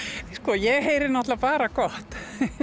ég heyri náttúrulega bara gott